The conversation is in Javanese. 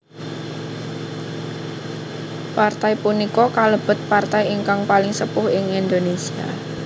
Partai punika kalebet partai ingkang paling sepuh ing Indonesia